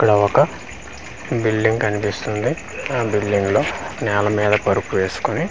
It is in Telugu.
ఇక్కడ ఒక బిల్డింగ్ కనిపిస్తుంది ఆ బిల్డింగ్ లో నెల్ల మీద పరుపు వేసుకొని .